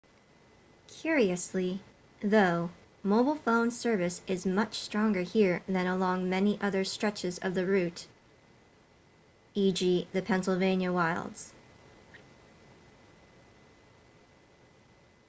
curiously though mobile phone service is much stronger here than along many other stretches of the route e.g. the pennsylvania wilds